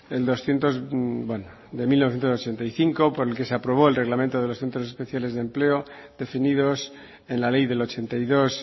de mil novecientos ochenta y cinco por el que se aprobó el reglamento de los centros especiales de empleo definidos en la ley del ochenta y dos